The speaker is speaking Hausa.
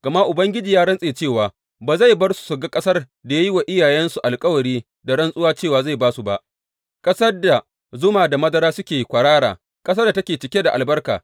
Gama Ubangiji ya rantse cewa ba zai bar su su ga ƙasar da ya yi wa iyayensu alkawari da rantsuwa cewa zai ba su ba, ƙasar da zuma da madara suke kwarara, ƙasar da take cike da albarka.